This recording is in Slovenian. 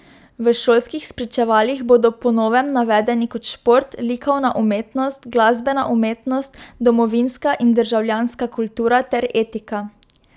V šolskih spričevalih bodo po novem navedeni kot šport, likovna umetnost, glasbena umetnost, domovinska in državljanska kultura ter etika.